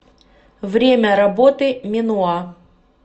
время работы менуа